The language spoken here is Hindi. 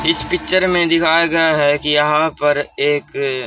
इस पिक्चर में दिखाया गया है कि यहां पर एक--